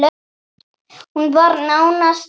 Hún var nánast tóm.